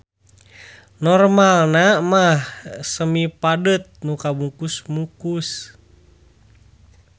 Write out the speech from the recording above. Normalna mah semipadet nu kabungkus mukus.